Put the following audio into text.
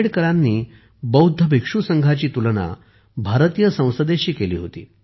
आंबेडकरांनी बौद्ध भिक्षू संघाची तुलना भारतीय संसदेशी केली होती